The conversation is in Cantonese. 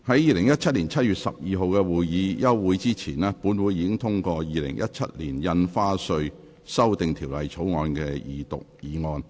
在2017年7月12日的會議休會前，本會已通過《2017年印花稅條例草案》的二讀議案。